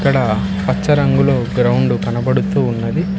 అక్కడ పచ్చ రంగులో గ్రౌండ్ కనబడుతూ ఉన్నది.